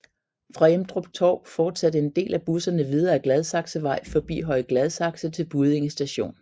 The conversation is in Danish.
Fra Emdrup Torv fortsatte en del af busserne videre ad Gladsaxevej forbi Høje Gladsaxe til Buddinge st